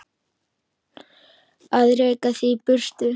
Að reka þig í burtu!